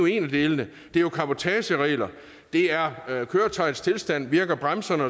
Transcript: en af delene det er jo cabotageregler og det er køretøjets tilstand virker bremserne